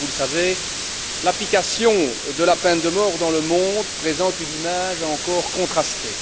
Comme vous le savez, l'application de la peine de mort dans le monde présente une image encore contrastée.